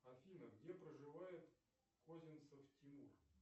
афина где проживает козинцев тимур